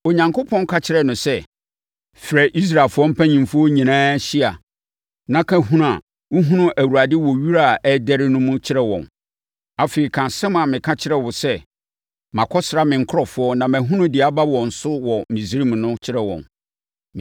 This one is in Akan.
Onyankopɔn ka kyerɛɛ no sɛ, “Frɛ Israelfoɔ mpanimfoɔ nyinaa hyia na ka hunu a wohunuu Awurade wɔ wira a na ɛredɛre mu no kyerɛ wɔn. Afei, ka asɛm a meka kyerɛɛ wo sɛ, ‘Makɔsra me nkurɔfoɔ na mahunu deɛ aba wɔn so wɔ Misraim no kyerɛ wɔn.